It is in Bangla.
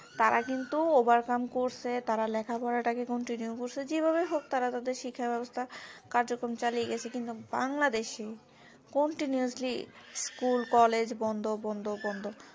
তারা কিন্তু overcome করছে তারা লেখা পড়া টাকে continue করছে যে ভাবে হোক তারা তাদের শিক্ষা ব্যবস্থ্যা কার্যকম চালিয়ে গেছে কিন্তু বাংলাদেশ এ continuouslyschool college বন্ধ বন্ধ বন্ধ